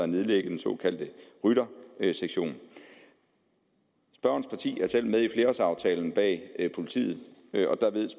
nedlægge den såkaldte ryttersektion spørgerens parti er selv med i flerårsaftalen bag politiet